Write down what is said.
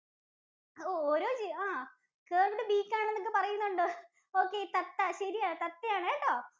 ഓരോ ജീവിക്കും ആഹ് curved beak ആണെന്നൊക്കെ പറയുന്നുണ്ട്. Okay തത്ത ശരിയാണ് തത്തയാണുട്ടോ.